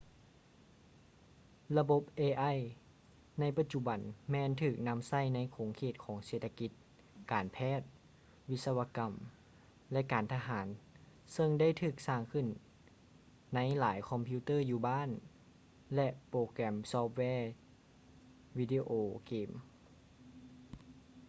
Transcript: ລະບົບ ai ໃນປະຈຸບັນແມ່ນຖືກນຳໃຊ້ໃນຂົງເຂດຂອງເສດຖະກິດ ການແພດ ວິສະວະກຳ ແລະ ການທະຫານເຊິ່ງໄດ້ຖືກສ້າງຂຶ້ນໃນຫລາຍຄອມພິວເຕີ້ີຢູ່ບ້ານ ແລະ ໂປແກຮມຊອຟແວວີດີໂອເກມ